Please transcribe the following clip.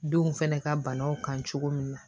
Denw fana ka banaw kan cogo min na